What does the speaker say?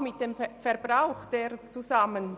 mit dem Verbrauch derselben zusammen.